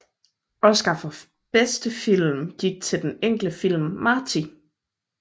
Oscar for bedste film gik til den enkle film Marty